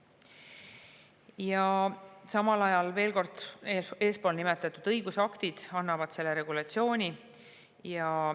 Ja samal ajal, veel kord, eespool nimetatud õigusaktid annavad selle regulatsiooni.